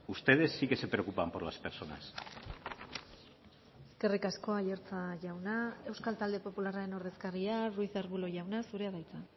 ustedes sí que se preocupan por las personas eskerrik asko aiartza jauna euskal talde popularraren ordezkaria ruiz de arbulo jauna zurea da hitza